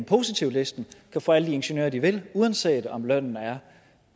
positivlisten kan få alle de ingeniører de vil uanset om lønnen